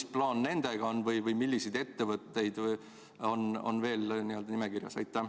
Mis plaan nendega on või millised ettevõtted on veel nimekirjas?